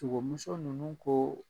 Togomuso nunnu koo